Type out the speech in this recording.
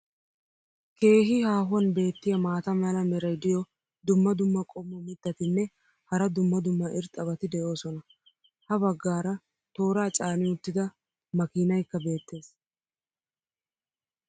keehi haahuwan beetiya maata mala meray diyo dumma dumma qommo mitattinne hara dumma dumma irxxabati de'oosona. ha bagaara tooraa caani uttida makiinaykka beetees.